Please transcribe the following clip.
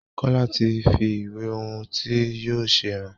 Kola tí fí ìwé ohùn tí yóò ṣe hàn.